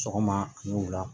Sɔgɔma a ni wula